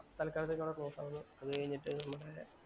തല്‍ക്കാലത്തേക്ക് അവിടെ ക്ലോസ് ആകുന്നു. അതുകഴിഞ്ഞിട്ട് നമ്മടെ